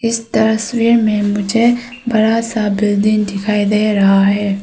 इस तस्वीर में मुझे बड़ा सा बिल्डिंग दिखाई दे रहा है।